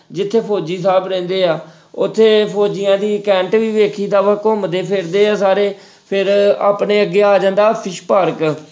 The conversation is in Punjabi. ਜਿੱਥੇ ਫ਼ੋਜੀ ਸਾਹਿਬ ਰਹਿੰਦੇ ਆ ਉੱਥੇ ਫ਼ੋਜੀਆਂ ਦੀ ਵੀ ਵੇਖੀਦਾ ਵਾ ਘੁੰਮਦੇ ਫਿਰਦੇ ਆ ਸਾਰੇ ਫਿਰ ਆਪਣੇ ਅੱਗੇ ਆ ਜਾਂਦਾ fish ਪਾਰਕ